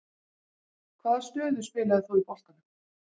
Hvaða stöðu spilaðir þú í boltanum?